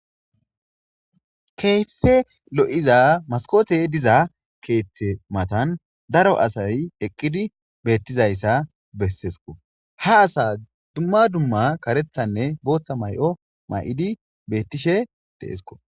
Keyfe lo'iza maskothe diza keeththe matan daro asay eqqidi beettizayssa bessesko ha asa dumma dumma karethanne booththa may'o may'idi beettishe de'esko.